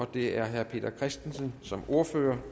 det er herre peter christensen som ordfører